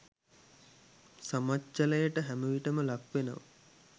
සමච්චලයට හැමවිටම ලක් වෙනව.